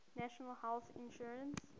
national health insurance